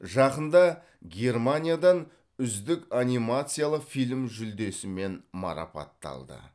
жақында германиядан үздік анимациялық фильм жүлдесімен марапатталды